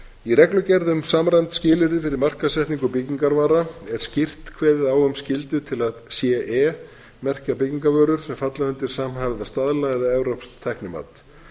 í reglugerð um samræmd skilyrði fyrir markaðssetningu byggingarvara er skýrt kveðið á um skyldu til að ce merkja byggingarvörur sem falla undir samhæfða staðla eða evrópskt tæknimat